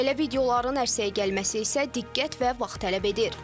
Belə videoların ərsəyə gəlməsi isə diqqət və vaxt tələb edir.